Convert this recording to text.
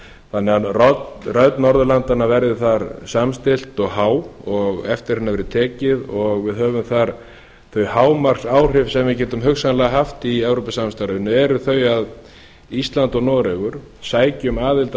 þannig að rödd norðurlandanna verði þar samstillt og há og eftir henni verði tekið og við höfum þar þau hámarksáhrif sem við getum hugsanlega haft í evrópusamstarfinu eru þau að ísland og noregur sæki um aðild að